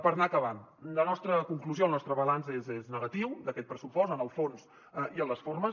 per anar acabant la nostra conclusió el nostre balanç és negatiu d’aquest pressupost en el fons i en les formes